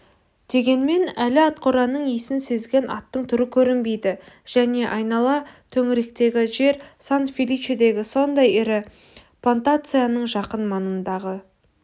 дегенмен әлі атқораның исін сезген аттың түрі көрінбейді және айнала төңіректегі жер сан-феличедегі сондай ірі плантацияның жақын маңындағы